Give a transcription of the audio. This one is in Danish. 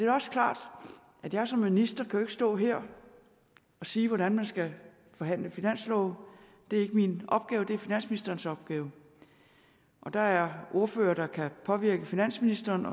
også klart at jeg som minister jo stå her og sige hvordan man skal forhandle finanslov det er ikke min opgave det er finansministerens opgave der er ordførere der kan påvirke finansministeren